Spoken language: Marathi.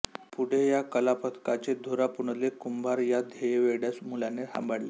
पुढे या कलापथकाची धुरा पुंडलिक कुंभार या ध्येयवेड्या मुलाने सांभाळली